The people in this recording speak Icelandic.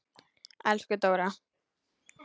Elsku Dóra.